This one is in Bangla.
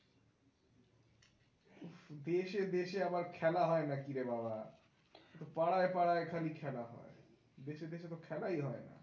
উহ দেশে দেশে আবার খেলা হয় নাকি রে বাবা পাড়ায় পাড়ায় খালি খেলা হয়। দেশে দেশে তো খেলাই হয় না।